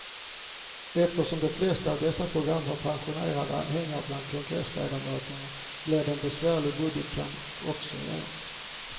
Eftersom de flesta av dessa program har passionerade anhängare bland kongressledamöter blir det en besvärlig budgetkamp också i år.